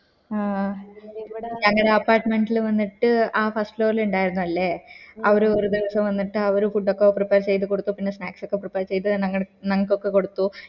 മ് ഞങ്ങടെ apartment ല് വന്നിട്ട് ആ first floor ല് ഇണ്ടായിരുന്നില്ലേ അവര് ഒറു ദിവസം വന്നിട്ട് അവര് food ഒക്കെ prepare ചെയ്ത് കൊടുത്തു പിന്നെ snacks ഒക്കെ prepare ഞങ്ങട് ഞങ്ങക്കൊക്കെ കൊടുത്തു